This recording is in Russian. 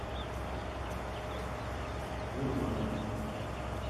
урманов